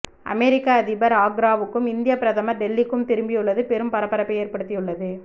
அமெரிக்க அதிபர் ஆக்ராவுக்கும் இந்திய பிரதமர் டெல்லிக்கும் திரும்பியுள்ளது பெரும் பரபரப்பை ஏற்படுத்தியுள்ளது